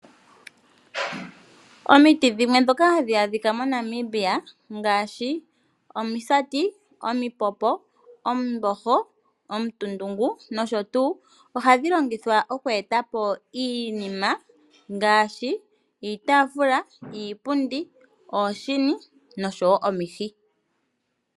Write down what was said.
Omiti dhimwe ndhoka hadhi adhika moNamibia ngaashi: omisati, omipopo, omumboho, omutundungu nosho tuu, ohadhi longithwa okweeta po iinima ngaashi: iitaafula, iipundi, ooshini nosho wo omihi.